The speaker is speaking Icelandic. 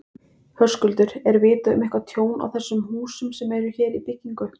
Höskuldur: Er vitað um eitthvað tjón á þessum húsum sem eru hér í byggingu?